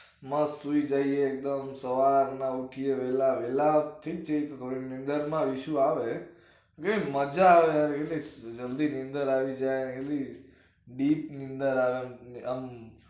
મસ્ત સુઈ જઈએ એકદમ સવારના ઉઠીએ વેલા વેલા ઠીક ઠીક થોડું weather માં issue આવે. જે મજા આવે ને એટલે જલ્દી નિદર આવી જાય એની deep નિદર આવે આમ